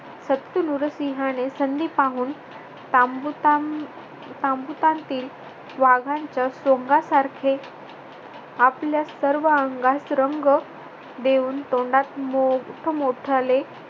सप्त नुरसिंहाने संधी पाहून तांबू तांब तांबुटातील वाघांच्या सोंगासारखे आपल्या सर्व अंगास रंग देऊन तोंडात मोठ मोठाले